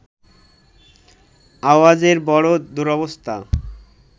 আওয়াজেরও বড় দুরবস্থা